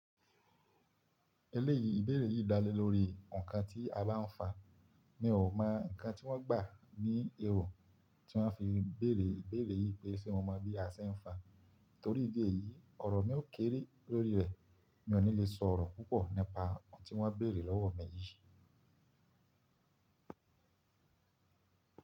Eléyìí ìbéèrè yìí dá lé lórí nǹkan tí abánfa mii ò mọ̀ nǹkan tí wọ́n gbà ní èrò tí wọ́n fi béèrè ìbéèrè yìí pé ṣé mo mọ bí asẹ ń fa? Nítorí ìdí èyí ọ̀rọ̀ mi ó kéré lórií reẹ̀. Mi ò ní lè sọ ọ̀rọ̀ púpọ̀ nípa ohun tí wọ́n béèrè lọ́wọ́ mi yìí.